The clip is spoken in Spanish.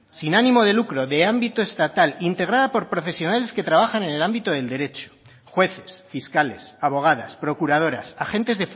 sin ánimo de lucro de ámbito estatal integrada por profesionales que trabajan en el ámbito del derecho jueces fiscales abogadas procuradoras agentes